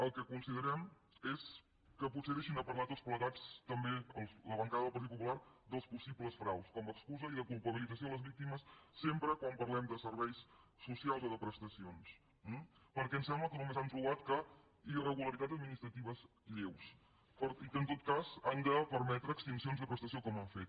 el que considerem és que potser que deixin de parlar tots plegats també la bancada del partit popular dels possibles fraus com a excusa i de culpabilització de les víctimes sempre quan parlem de serveis socials o de prestacions perquè em sembla que només han trobat irregularitats administratives lleus i que en tot cas han de permetre extincions de prestació com han fet